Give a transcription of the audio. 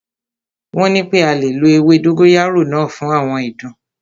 Wọ́n nipé a lè lo ewé dógóyárò náà fún àwọn ìdun.